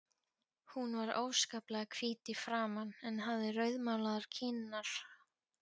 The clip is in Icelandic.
Hún var óskaplega hvít í framan en hafði rauðmálaðar kinnar.